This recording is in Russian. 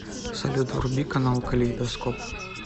салют вруби канал калейдоскоп